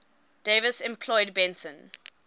davis employed benson